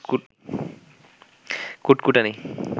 কুটকুটানি